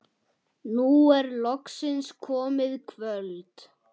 Nú er loksins komið kvöld.